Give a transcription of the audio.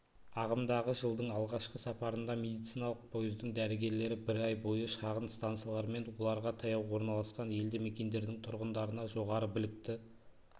ағымдағы жылдың алғашқы сапарында медициналық пойыздың дәрігерлері бір ай бойы шағын станциялар мен оларға таяу орналасқан елді мекендердің тұрғындарына жоғары білікті